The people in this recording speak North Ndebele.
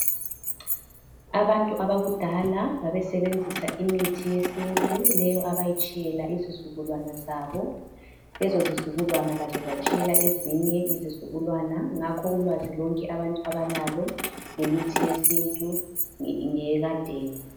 Abantu abakudala babesebenzisa imithi yesintu leyo abayitshiyela izizukulwana zabo lezo zizukulwana lazo zatshiyela ezinye izizukulwana ngakho ulwazi lonke abantu abalalo ngemithi yesintu ngeyekadeni.